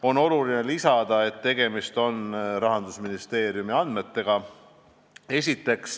On oluline lisada, et tegemist on Rahandusministeeriumi andmetega.